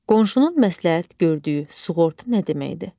Qonşunun məsləhət gördüyü sığorta nə deməkdir?